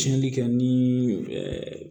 Tiɲɛnli kɛ ni ɛɛ